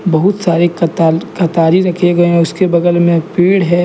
बहुत सारी कोताल कथारी रखे गए हैं उसके बगल में पेड़ है।